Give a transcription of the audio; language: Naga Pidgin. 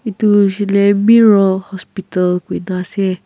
edu hoishey koilae mero hospital kuina ase.